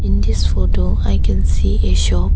In this photo I can see a shop.